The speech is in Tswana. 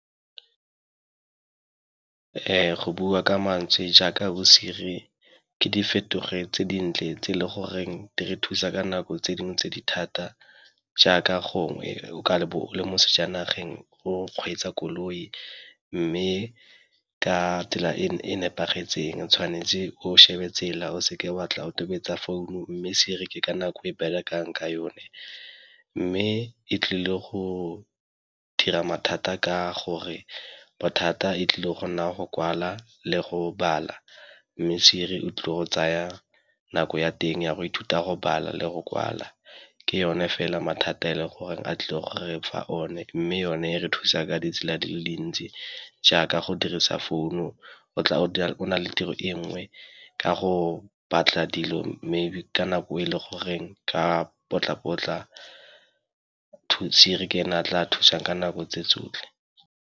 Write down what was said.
Go bua ka mantswe jaaka bo-Siri ke di fetoge tse dintle tse e le goreng di re thusa ka nako tse dingwe tse di thata, jaaka gongwe le mo sejanageng go kgweetsa koloi mme ka tsela e nepagetseng tshwanetse o shebe tsela o seke wa tla o tobetsa founu mme Siri ka nako e berekang ka yone. Mme e tlile go dira mathata ka gore bothata e tlile go nna go kwala le go bala mme Siri o tlile go tsaya nako ya teng ya go ithuta go bala le go kwala. Ke yone fela mathata a e le gore a tlile go re fa one, mme yone e re thusa ka ditsela di le dintsi jaaka go dirisa founu o na le tiro e nngwe ka go batla dilo, maybe ka nako e le goreng ka potla-potla Siri ke ena a tla thusang ka nako tse tsotlhe.